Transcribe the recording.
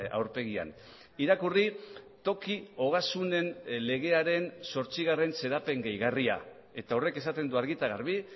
aurpegian irakurri toki ogasunen legearen zortzigarren xedapen gehigarria eta horrek esaten du argi eta garbi